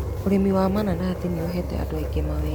Ũrĩmi wa mananathi nĩ ũhete andũ aingĩ mawĩra.